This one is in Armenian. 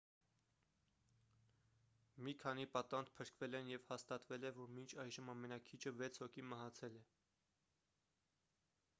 մի քանի պատանդ փրկվել են և հաստատվել է որ մինչ այժմ ամենաքիչը վեց հոգի մահացել է